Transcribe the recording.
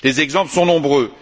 Les exemples sont nombreux.